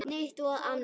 Eitt og annað.